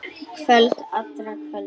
Kvöld allra kvölda.